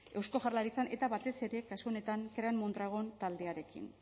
eusko jaurlaritzan eta batez ere kasu honetan krean mondragon taldearekin